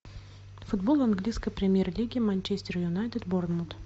футбол английской премьер лиги манчестер юнайтед борнмут